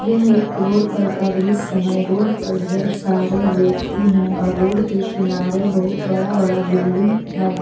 यह एक रोड पर का दृश्य है रोड पर ढेर सारे व्यक्ति हैं और रोड के किनारे बहुत बड़ा बड़ा बिल्डिंग है।